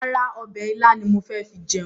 Rárá, ọbẹ̀ ilá ni mo fi jẹun.